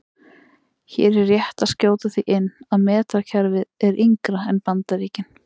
Hér er rétt að skjóta því inn að metrakerfið er yngra en Bandaríkin.